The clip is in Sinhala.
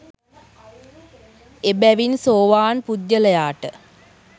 එබැවින් සෝවාන් පුද්ගලයාට